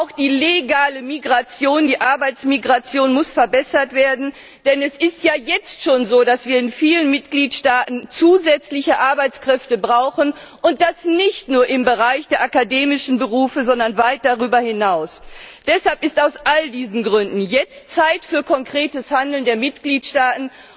Und auch die legale Migration, die Arbeitsmigration muss verbessert werden, denn es ist ja jetzt schon so, dass wir in vielen Mitgliedstaaten zusätzliche Arbeitskräfte brauchen, und das nicht nur im Bereich der akademischen Berufe, sondern weit darüber hinaus. Deshalb ist aus all diesen Gründen jetzt Zeit für konkretes Handeln der Mitgliedstaaten.